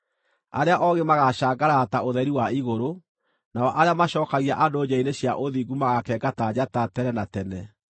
Arĩa oogĩ magaacangarara ta ũtheri wa igũrũ, nao arĩa macookagia andũ njĩra-inĩ cia ũthingu magaakenga ta njata tene na tene.